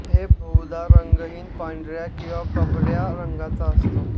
हे बहुदा रंगहीन पांढऱ्या किंवा कबऱ्या रंगाचा असतो